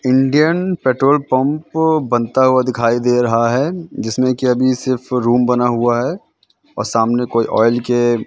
Indian petrol pump बनता हुआ दिखाई दे रहा है जिसमें कि अभी सिर्फ रूम बना हुआ है और सामने कोई ऑइल के--